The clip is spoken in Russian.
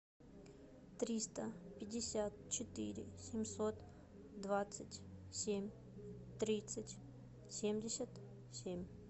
триста пятьдесят четыре семьсот двадцать семь тридцать семьдесят семь